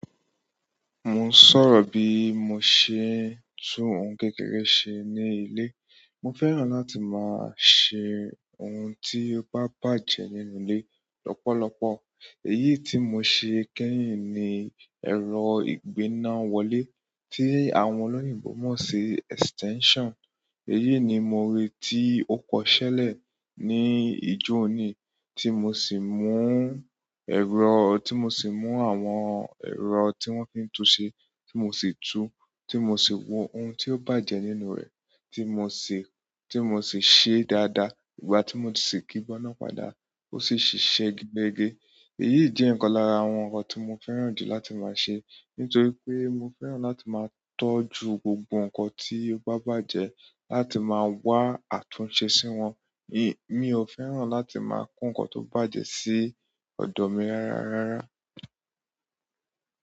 Mo n sọ̀rọ̀ bí mo ṣe ń tún ohun kékeré ṣe ní ilé. Mo fẹ́ràn láti máa ṣe ohun tí ó bá bàjẹ́ nínú ilé lọ́pọ̀lọpọ̀. Èyí tí mo ṣe kẹ́yìn ni ẹ̀rọ ìgbéná wọlé tí àwọn olóyìnbo mọ̀ sí extension. Èyí ni mo rí tí ó kọṣẹ́lẹ̀ ní ijó-oni tí mo sì mú ẹ̀rọ-- tí mo sì mú àwọn ẹ̀rọ tí wọ́n fi ń tun ṣe tí mo sì tú, tí mo sì wo ohun tí ó bàjẹ́ nínú rẹ̀ tí mo sì, tí mo sì ṣe dáadáa. Ìgbà tí mo sì kígbọ́ná padà ó sì ṣiṣẹ́ gẹ́gẹ́. Èyí jẹ́ ìkan lára àwọn nǹkan tí mo fẹ́ràn jù láti máa ṣe, nítorí pé mo fẹ́ràn láti máa tọ́jú gbogbo nǹkan tí ó bá bàjẹ́ láti máa wá àtúnṣe sí wọn. Mi ò fẹ́ràn láti máa kún nǹkan tó bàjẹ́ sí ọ̀do mi rárá rárá.